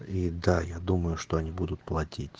и да я думаю что они будут платить